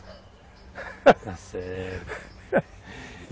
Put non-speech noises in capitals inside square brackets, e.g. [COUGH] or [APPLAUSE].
[LAUGHS] está certo.